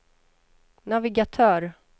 navigatör